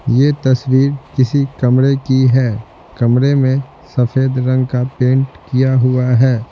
यह तस्वीर किसी कमरे की है कमरे में सफेद रंग का पेंट किया हुआ है।